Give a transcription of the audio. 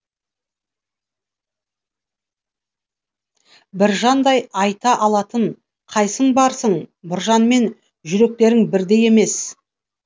біржандай айта алатын қайсың барсың біржанмен жүректерің бірдей емес